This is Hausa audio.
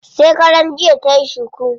Shekaran jiya tayi cuku.